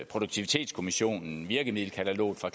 produktivitetskommissionen virkemiddelkataloget fra